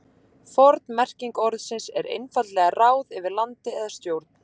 Forn merking orðsins er einfaldlega ráð yfir landi eða stjórn.